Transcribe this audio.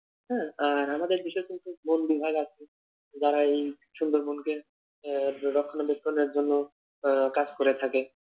হ্যাঁ আর আমাদের দেশে কিন্তু বন বিভাগ আছে। যারা এই সুন্দরবনকে আহ রক্ষনা বেক্ষনের জন্য আহ কাজ করে থাকে।